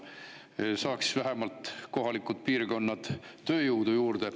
Kuidas saaks piirkonnad vähemalt töö juurde?